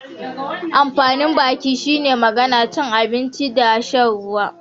Amfanin baki shine magana, cin abinci da shan ruwa.